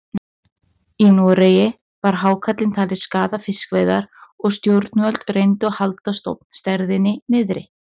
Í Noregi var hákarlinn talinn skaða fiskveiðar og stjórnvöld reyndu að halda stofnstærðinni niðri.